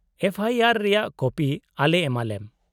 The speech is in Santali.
-ᱮᱯᱷᱚ ᱟᱭ ᱟᱨ ᱨᱮᱭᱟᱜ ᱠᱚᱯᱤ ᱟᱞᱮ ᱮᱢᱟᱞᱮᱢ ᱾